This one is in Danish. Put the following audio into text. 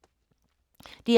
DR K